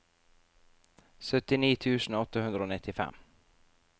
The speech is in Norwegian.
syttini tusen åtte hundre og nittifem